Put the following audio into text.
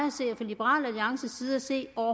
at se og